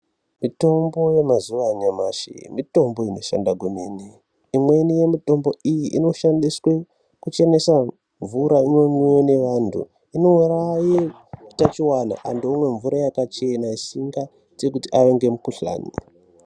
Mitombo yemazuva anyamashi mitombo inoshanda kwemene. Imweni yemitombo iyi inoshandiswe kuchenesa mvura ino mwiwa nevantu. Inouraye utachiwona antu omwa mvura yakachena isangaite kuti ave nemukuhlani.